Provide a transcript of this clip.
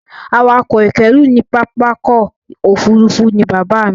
Awakọ̀ ìkẹ́rú ní pápákọ̀ òfurufú ni bàbáà mi.